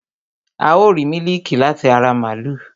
A ó rìí mílíkì láti ara màlúù